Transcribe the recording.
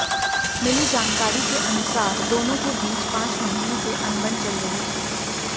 मिली जानकारी के अनुसार दोनों के बीच पांच महीने से अनबन चल रही थी